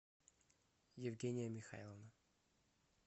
евгения михайловна